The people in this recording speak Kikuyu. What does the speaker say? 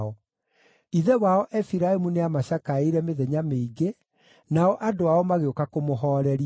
Ithe wao Efiraimu nĩamacakaĩire mĩthenya mĩingĩ, nao andũ ao magĩũka kũmũhooreria.